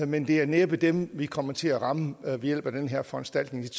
men det er næppe dem vi kommer til at ramme ved hjælp af den her foranstaltning